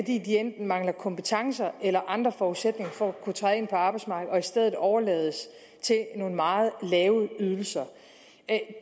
de enten mangler kompetencer eller andre forudsætninger for at kunne træde ind på arbejdsmarkedet og i stedet overlades til nogle meget lave ydelser